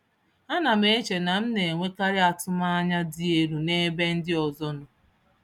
Ánám eche na m nenwekarị atụm ányá dị élú nebe ndị ọzọ nọ.